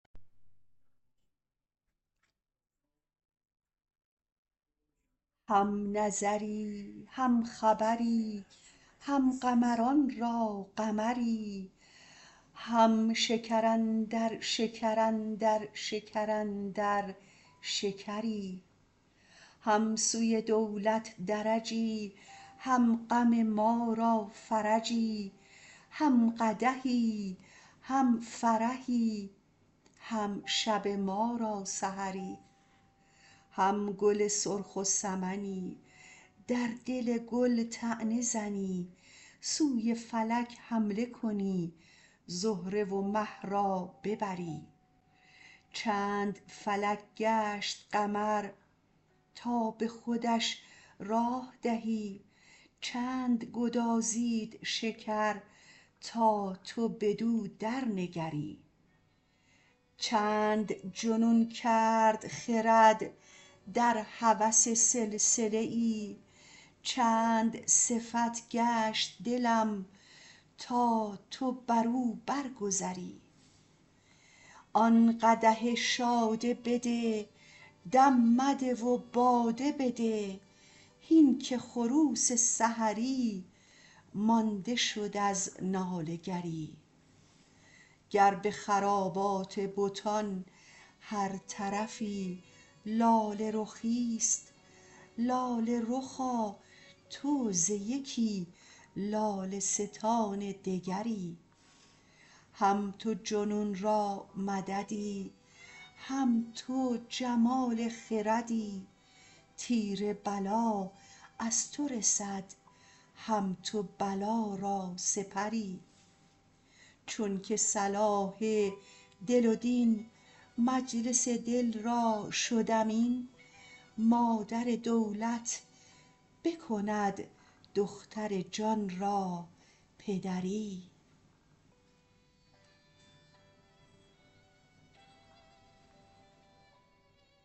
هم نظری هم خبری هم قمران را قمری هم شکر اندر شکر اندر شکر اندر شکری هم سوی دولت درجی هم غم ما را فرجی هم قدحی هم فرحی هم شب ما را سحری هم گل سرخ و سمنی در دل گل طعنه زنی سوی فلک حمله کنی زهره و مه را ببری چند فلک گشت قمر تا به خودش راه دهی چند گدازید شکر تا تو بدو درنگری چند جنون کرد خرد در هوس سلسله ای چند صفت گشت دلم تا تو بر او برگذری آن قدح شاده بده دم مده و باده بده هین که خروس سحری مانده شد از ناله گری گر به خرابات بتان هر طرفی لاله رخی است لاله رخا تو ز یکی لاله ستان دگری هم تو جنون را مددی هم تو جمال خردی تیر بلا از تو رسد هم تو بلا را سپری چونک صلاح دل و دین مجلس دل را شد امین مادر دولت بکند دختر جان را پدری